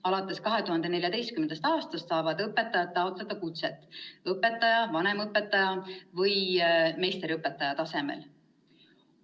Alates 2014. aastast saavad õpetajad taotleda kutset kas õpetaja, vanemõpetaja või meisterõpetaja tasemel.